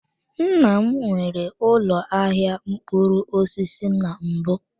Nna m nwere ụlọ ahịa mkpụrụ osisi na mbụ.